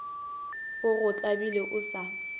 o go tlabile o sa